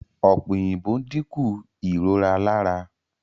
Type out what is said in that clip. Ọ̀pẹ̀-òyìnbó dínkù ìrora lára.